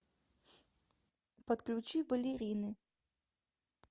подключи балерины